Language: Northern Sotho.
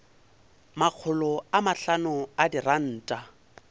makgolo a mahlano a diranta